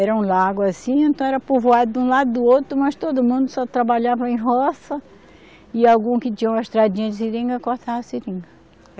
Era um lago assim, então era povoado de um lado e do outro, mas todo mundo só trabalhava em roça, e algum que tinha uma estradinha de seringa, cortava a seringa.